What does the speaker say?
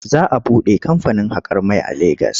Za a buɗe kamfanin haƙar mai a Legas.